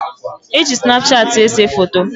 E ji Snapchat ese foto.